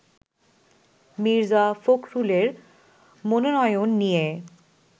মির্জা ফখরুলের মনোনয়ন নিয়ে